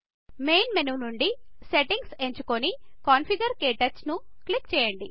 main menu నుండి సెట్టింగ్లను ఎంచుకోని మరియు కన్ఫిగర్ క్టచ్ క్లిక్ చేయండి